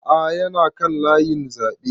A'a ya na kan layin zaɓe